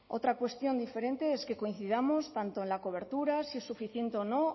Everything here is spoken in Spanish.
otra cuestión diferente es que coincidamos tanto en la cobertura si es suficiente o no